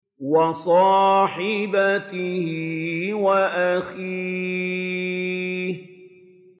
وَصَاحِبَتِهِ وَأَخِيهِ